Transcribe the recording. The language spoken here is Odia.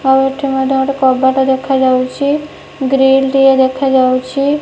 ଆଉ ଏଠି ମଧ୍ୟ ଗୋଟେ କବାଟ ଦେଖାଯାଉଛି। ଗ୍ରୀଲ୍ ଟିଏ ଦେଖାଯାଉଛି।